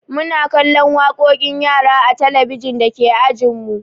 Muna kallon waƙoƙin yara a talabijin dake ajinmu.